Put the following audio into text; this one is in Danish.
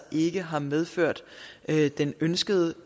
ikke har medført den ønskede